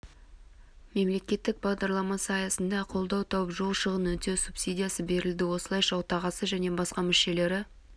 мемлекеттік бағдарламасы аясында қолдау тауып жол шығынын өтеу субсидиясы берілді осылайша отағасы және басқа мүшелері